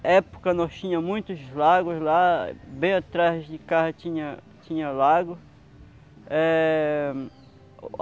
Na época nós tinha muitos lagos lá, bem atrás de casa tinha tinha lago. Eh